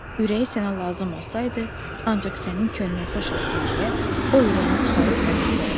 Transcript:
Ürəyi sənə lazım olsaydı, ancaq sənin könlün xoş olsun deyə o ürəyini çıxarıb sənə verərdi.